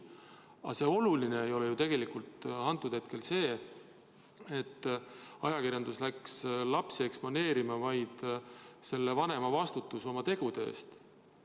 Aga oluline tegelikult antud hetkel pole see, et ajakirjandus läks lapsi eksponeerima, vaid selle vanema vastutus oma tegude eest.